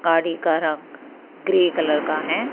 गाड़ी का रंग ग्रे कलर का है।